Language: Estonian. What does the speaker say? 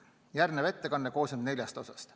Järgnev ettekanne koosneb neljast osast.